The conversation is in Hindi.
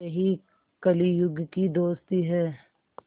यही कलियुग की दोस्ती है